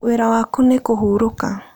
Wĩra waku nĩ kũhurũka.